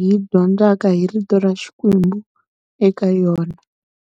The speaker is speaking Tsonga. hi dyondzaka hi rito ra Xikwembu eka yona.